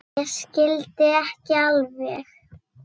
Ég skildi ekki alveg.